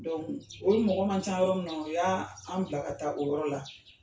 o mɔgɔ man ca yɔrɔ min, o y'a an bila ka taa o yɔrɔ la.